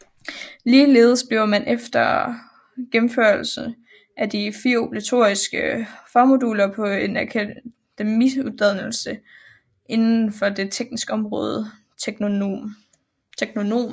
Ligeledes bliver man efter gennemførelse af de 4 obligatoriske fagmoduler på en akademiuddannelse inden for det tekniske område teknonom